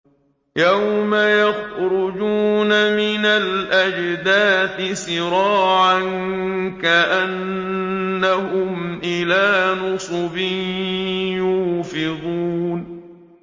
يَوْمَ يَخْرُجُونَ مِنَ الْأَجْدَاثِ سِرَاعًا كَأَنَّهُمْ إِلَىٰ نُصُبٍ يُوفِضُونَ